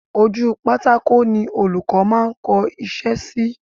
Ojú pátákó ni Olùkọ́ máa ń kọ iṣẹ́ sí